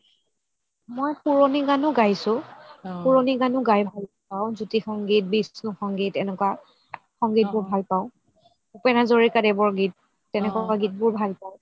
মই পুৰণি গানও গাইছো পুৰণি গানও গাই ভাল পাও জ্যোতি সংগীত, বিষ্ণু সংগীত এনেকুৱা সংগীতবোৰ ভাল পাও ভুপেন হাজৰিকাৰ দেৱৰ গীত তেনেকুৱা গীতবোৰ ভাল পাও